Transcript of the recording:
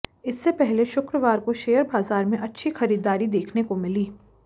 इससे पहले शुक्रवार को शेयर बाजार में अच्छी खरीददारी देखने को मिली